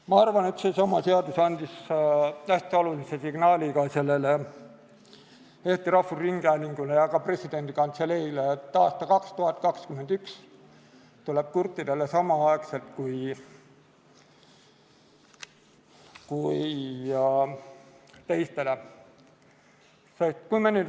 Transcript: Ma arvan, et see seadus andis hästi olulise signaali Eesti Rahvusringhäälingule ja ka presidendi kantseleile, et aasta 2021 tuleb kurtidele samal ajal kui teistele.